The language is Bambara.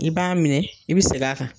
I b'a minɛ, i bi seg'a kan.